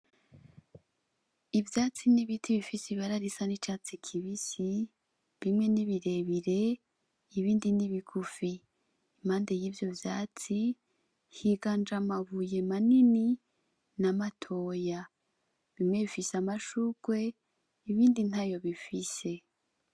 Ivyatsi n'ibiti bifise ibara risa n'icatsi kibisi bimwe ni birebire ibindi ni bigufi impande y'ivyo vyatsi higanje amabuye manini n'amatoya bimwe bifise amashurwe ibindi ntayo bifise.